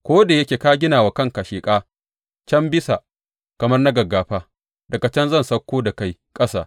Ko da yake ka gina wa kanka sheƙa can bisa kamar na gaggafa, daga can zan sauko da kai ƙasa,